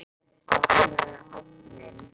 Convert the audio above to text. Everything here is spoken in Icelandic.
Opnaðu ofninn!